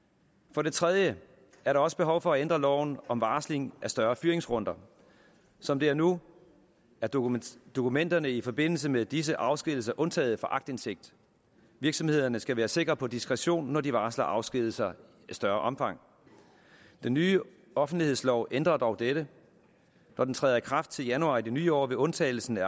for det tredje er der også behov for at ændre loven om varsling af større fyringsrunder som det er nu er dokumenterne dokumenterne i forbindelse med disse afskedigelser undtaget fra aktindsigt virksomhederne skal være sikre på diskretion når de varsler afskedigelser i større omfang den nye offentlighedslov ændrer dog dette når den træder i kraft til januar i det nye år vil undtagelsen af